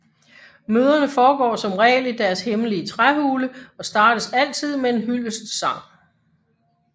Møderne foregår som regel i deres hemmelige træhule og startes altid med en hyldestsang